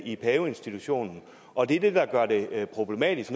i paveinstitutionen og det er det der gør det problematisk